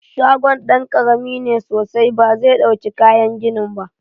Shagon ɗan ƙarami ne sosai ba zai ɗauki kayan ginin ba.